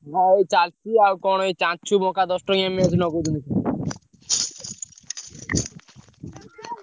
ନାଇଁ ଏଇ ଚାଲିଛି ଆଉ କଣ ଏଇ ଦଶଟଙ୍କିଆ match ।